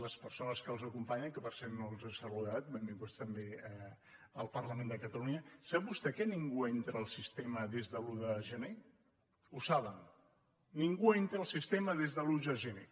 les persones que els acom·panyen que per cert no els he saludat benvinguts també al parlament de catalunya sap vostè que nin·gú entra al sistema des de l’un de gener ho saben ningú entra al sistema des de l’un de gener